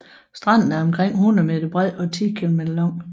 Stranden er omkring 100 m bred og 10 km lang